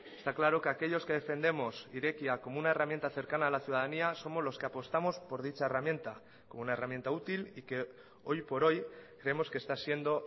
está claro que aquellos que defendemos irekia como una herramienta cercana a la ciudadanía somos los que apostamos por dicha herramienta como una herramienta útil y que hoy por hoy creemos que está siendo